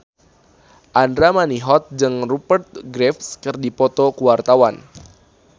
Andra Manihot jeung Rupert Graves keur dipoto ku wartawan